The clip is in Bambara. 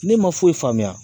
Ne ma foyi faamuya